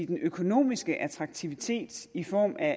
den økonomiske attraktivitet i form af